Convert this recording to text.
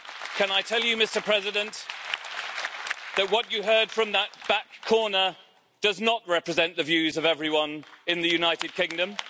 can I tell you, Mr President, that what you heard from that back corner does not represent the views of everyone in the United Kingdom.